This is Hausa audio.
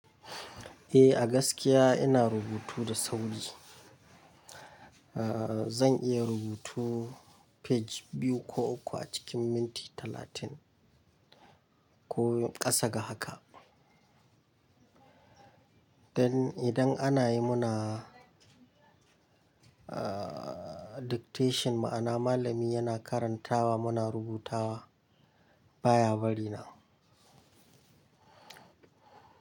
Eh a gaskiya ina rubutu da sauri. Aaa zan iya rubutu page biyu ko uku a cikin minti talatin ko ƙasa ga haka. Dan idan ana yi muna aa dictation ma'ana malami yana karantawa muna rubutawa baya bari na.